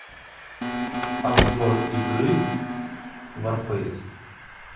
обзор игры варфейс